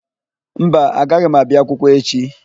Mba, agaghị m abịa akwụkwọ echi.